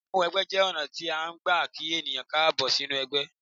Ìmúwẹgbẹ́ jẹ́ ọ̀nà tí a ń gbà kí ènìyàn káàbọ̀ sínú ẹgbẹ́.